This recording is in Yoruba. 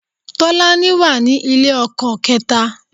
Tọ́lání wà ní ilé ọkọ kẹ́ta